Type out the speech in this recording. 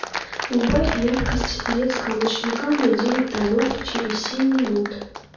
убавь яркость детского ночника на девять тонов через семь минут